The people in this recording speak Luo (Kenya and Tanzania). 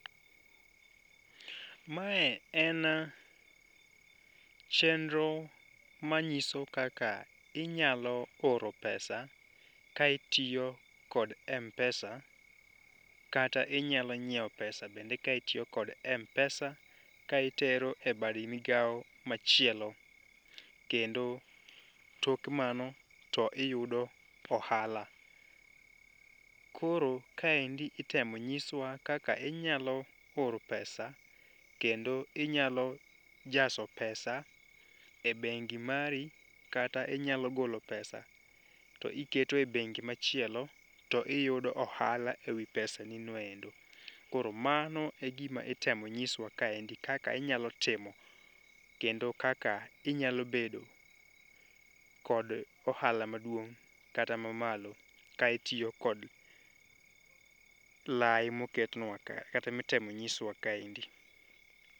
Mae en chendro manyiso kaka inyalo oro pesa ka itiyo kod Mpesa kata inyalo nyiewo pesa bende ka itiyo kod Mpesa, ka itero e bad migawo machielo. Kendo tok mano to iyudo ohala. Koro kaendi itemo nyiswa kaka inyalo oro pesa kendo inyalo jaso pesa e bengi mari kata inyalo golo pesa to iketo e bengi machielo to iyudo ohala ewi pesa ni noendo. Koro mano e gima itemo nyiswa kaendi kaka inyalo timo kendo kaka inyalo bedo kod ohala maduong' kata ma malo ka itiyo kod lai moketnwa ka, kata mitem nyiswa kaendi.